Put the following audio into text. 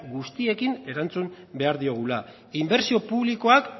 guztiekin erantzun behar diogula inbertsio publikoak